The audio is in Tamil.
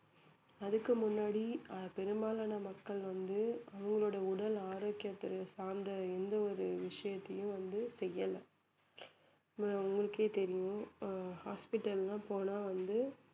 அதுக்கு முன்னாடி அஹ் பெரும்பாலான மக்கள் வந்து அவங்களோட உடல் ஆரோக்கியத்தை சார்ந்த எந்த ஒரு விஷயத்தையும் வந்து செய்யல அஹ் உங்களுக்கே தெரியும் அஹ் hospital லாம் போனா வந்து